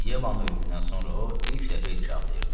Yevanın ölümündən sonra o, ilk dəfə idi ki ağlayırdı.